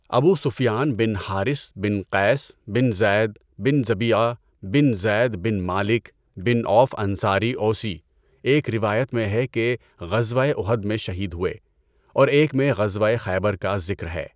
ابو سفیان بن حارث بن قیس بن زید بن ضبیعہ بن زید بن مالک بن عوف انصاری اوسی، ایک روایت میں ہے کہ غزوۂ اُحد میں شہید ہوئے، اورایک میں غزوۂ خیبر کا ذکر ہے۔